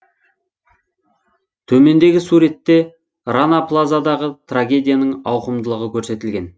төмендегі суретте рана плазадағы трагедияның ауқымдылығы көрсетілген